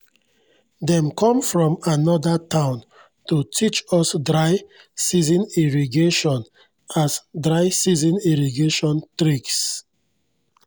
dem kom from anoda town to teach us dry-season irrigation us dry-season irrigation tricks